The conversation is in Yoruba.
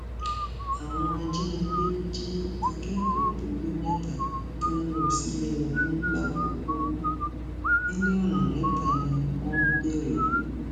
àwọn ajínigbé jí akẹkọọ pọlì mẹta tó ń lọ sílé ọdún làkòkò mílíọnù mẹta ni wọn ń béèrè